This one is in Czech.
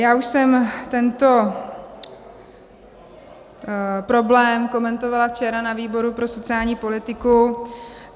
Já už jsem tento problém komentovala včera ve výboru pro sociální politiku.